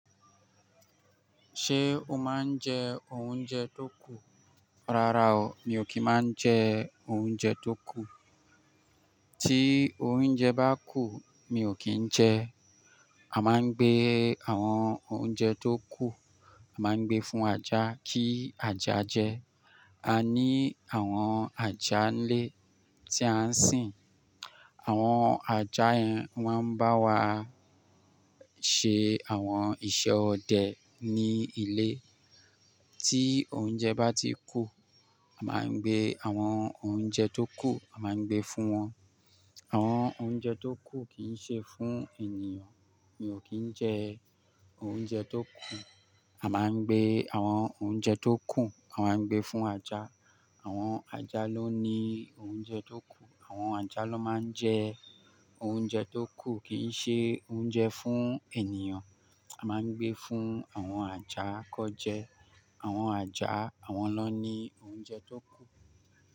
Ṣé o máa ń jẹ oúnjẹ tó kù? Rárá o, mi ò kí ń máa ń jẹ oúnjẹ tó kù. Tí oúnjẹ bá kù, mi ò kí ń jẹ ẹ. A máa ń gbé àwọn oúnjẹ tó kù, a máa ń gbé fún ajá kí ajá jẹ. A ní àwọn ajá ńilé tí a ń sìn. Àwọn ajá yẹn wọ́n ń bá wa ṣe àwọn iṣẹ́ ọdẹ ní ilé. Tí oúnjẹ bá ti kù, a máa ń gbé àwọn oúnjẹ tó kù, a máa ń gbé fún wọn. Àwọn oúnjẹ tó kù kì í ṣe fún ènìyàn, mi ò kí ń jẹ oúnjẹ tó kù. A máa ń gbé àwọn oúnjẹ tó kù, a máa ń gbé fún ajá. Àwọn ajá ló ní oúnjẹ tó kù, àwọn ajá ló máa ń jẹ oúnjẹ tó kù kì í ṣe oúnjẹ fún ènìyàn. A máa ń gbé fún àwọn ajá kọ́ jẹ. Àwọn ajá àwọn lọ ní oúnjẹ tó kù.